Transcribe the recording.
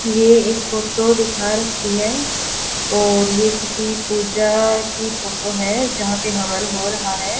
ये एक फोटो दिखा रखी है और ये किसी पूजा की फोटो है जहां पे हवन हो रहा हैं।